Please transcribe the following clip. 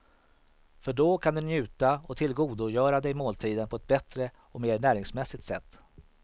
För då kan du njuta och tillgodogöra dig måltiden på ett bättre och mer näringsmässigt sätt.